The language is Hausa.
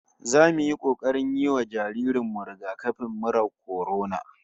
Zamu yi kokarin yi wa jaririn mu rigakafin murar kwarona